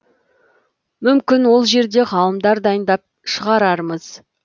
мүмкін ол жерде ғалымдар дайындап шығарармыз